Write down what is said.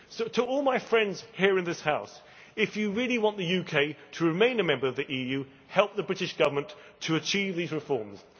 To all my friends here in this House, if you really want the UK to remain a member of the EU, help the British Government to achieve these reforms.